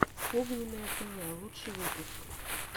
огненное тв лучший выпуск